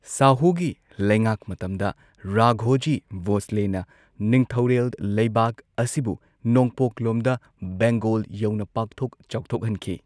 ꯁꯥꯍꯨꯒꯤ ꯂꯩꯉꯥꯛ ꯃꯇꯝꯗ, ꯔꯥꯘꯣꯖꯤ ꯚꯣꯁꯂꯦꯅ ꯅꯤꯡꯊꯧꯔꯦꯜ ꯂꯩꯕꯥꯛ ꯑꯁꯤꯕꯨ ꯅꯣꯡꯄꯣꯛꯂꯣꯝꯗ, ꯕꯦꯡꯒꯣꯜ ꯌꯧꯅ ꯄꯥꯛꯊꯣꯛ ꯆꯥꯎꯊꯣꯛꯍꯟꯈꯤ꯫